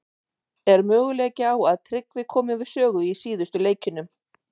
Er möguleiki á að Tryggvi komi við sögu í síðustu leikjunum?